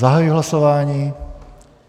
Zahajuji hlasování.